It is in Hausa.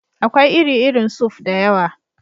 Akwai iri-irin suf (soup) da yawa.